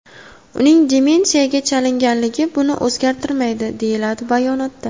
Uning demensiyaga chalinganligi buni o‘zgartirmaydi”, deyiladi bayonotda.